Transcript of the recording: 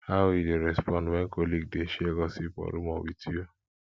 how you dey respond when colleague dey share gossip or rumor with you